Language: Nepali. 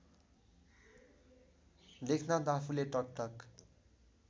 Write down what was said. लेखनाथ आफूले टकटक